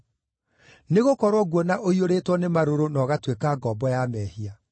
Nĩgũkorwo nguona ũiyũrĩtwo nĩ marũrũ na ũgatuĩka ngombo ya mehia.”